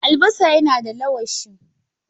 Albasa yana da allawashi.